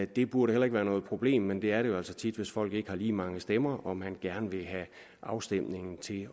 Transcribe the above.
det burde heller ikke være noget problem men det er det jo altså tit hvis folk ikke har lige mange stemmer og man gerne vil have afstemningen til